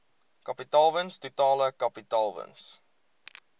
kapitaalwins totale kapitaalwins